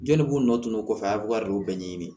Jɔnni k'u nɔtunn'o kɔfɛ a bɛ kari o bɛɛ ɲɛɲini